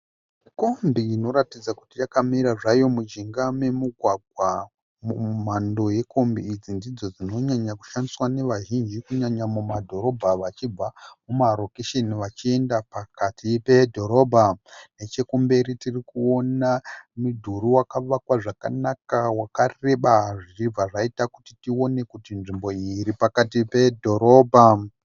Kombi inoratidza kuti yakamira zvayo mujinga memugwagwa. Mhando yekombi idzi ndidzo dzinonyanya kushandiswa nevazhinji kunyanya mumadhorobha vachibva kumarokesheni vachienda pakati pedhorobha. Nechekumberi tirikuona mudhuri wakavakwa zvakanaka wakareba zvichibva zvaita kuti tione kuti nzvimbo iyi iri pakati pedhorobha.